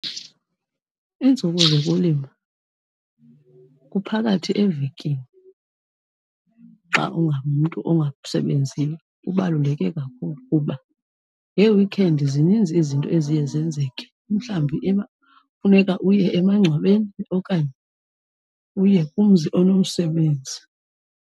Iintsuku zokulima kuphakathi evekini xa ungumntu ongasebenziyo kubaluleke kakhulu kuba ngee-weekend zininzi izinto eziye zenzeke mhlawumbi funeka uye emangcwabeni okanye uye kumzi onomsebenzi.